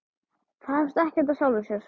Það hefst ekkert af sjálfu sér.